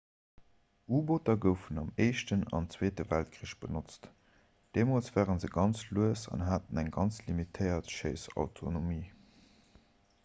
u-booter goufen am éischten an zweete weltkrich benotzt deemools ware se ganz lues an haten eng ganz limitéiert schéissautonomie